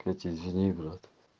блять извини брат